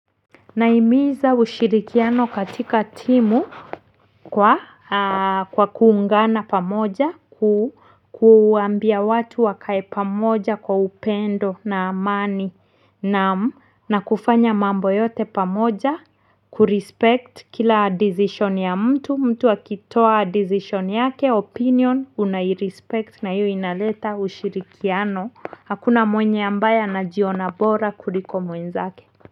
Nahimiza ushirikiano katika timu kwa kuungana pamoja, kuambia watu wakae pamoja kwa upendo na amani naamu na kufanya mambo yote pamoja, kurespect kila decision ya mtu, mtu akitoa decision yake, opinion, unairespect na hiyo inaleta ushirikiano. Hakuna mwenye ambaye anajiona bora kuliko mwenzake. Muziki.